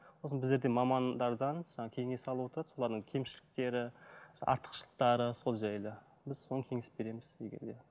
сосын біздерден мамандардан кеңес ала отырып солардың кемшіліктері артықшылықтары сол жайлы біз соны кеңес береміз егер де